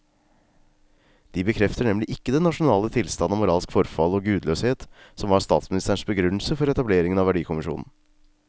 De bekrefter nemlig ikke den nasjonale tilstand av moralsk forfall og gudløshet som var statsministerens begrunnelse for etableringen av verdikommisjonen.